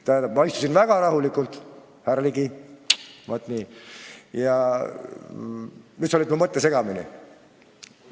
Ma istusin väga rahulikult, sina aga lõid nüüd mu mõtte segamini.